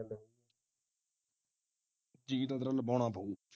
ਜੀ ਤਾਂ ਤੇਰਾ ਲਵਾਉਣਾ ਪਉ